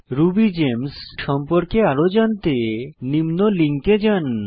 Ruby Games সম্পর্কে আরো জানতে নিম্ন লিঙ্কে যান